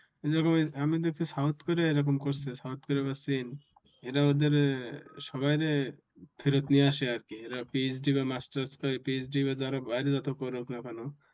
যেরকম আমি দেখছি south korea এ রকম করছে south korea বা চীন এরা ওদের সবাই রে ফেরত নিয়ে আসে। আর কি এরা PhD বা masters রা PhD বা যারা বাইরে যত পড়ুক না কেন